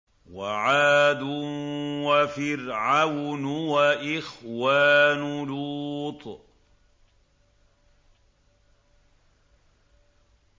وَعَادٌ وَفِرْعَوْنُ وَإِخْوَانُ لُوطٍ